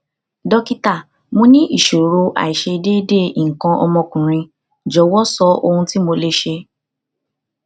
dókítà mo ní ìṣòro aiṣedeede ikan omo okunrin jọwọ sọ ohun tí mo lè ṣe